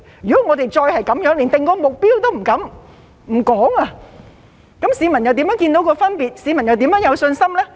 如果我們再是連訂定目標也不敢、不說，市民又如何看得到分別，又怎會有信心呢？